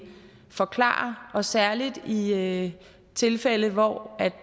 forklarer og særlig i i tilfælde hvor